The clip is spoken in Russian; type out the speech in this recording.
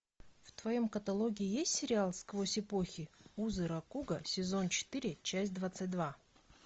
в твоем каталоге есть сериал сквозь эпохи узы ракуго сезон четыре часть двадцать два